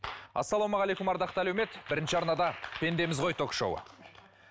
ассалаумағалейкум ардақты әлеумет бірінші арнада пендеміз ғой ток шоуы